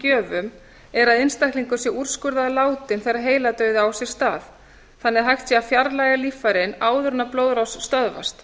gjöfum er að einstaklingur sé úrskurðaður látinn þegar heiladauði á sér stað þannig að hægt sé að fjarlægja líffærin áður en blóðrás stöðvast